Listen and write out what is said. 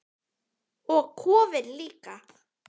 Og kofinn líka!